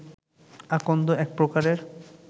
আকন্দ এক প্রকারের